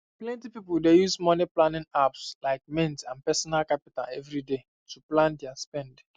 plenty people dey use moneyplanning apps like mint and personal capital every day to plan their spend